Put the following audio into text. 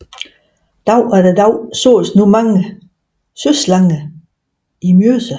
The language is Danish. Dag efter dag sås nu mange søslanger i Mjøsa